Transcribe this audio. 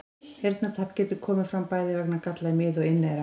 Heyrnartap getur komið fram bæði vegna galla í mið- og inneyra.